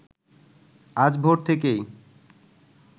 আজ ভোর থেকেই